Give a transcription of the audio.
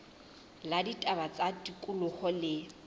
la ditaba tsa tikoloho le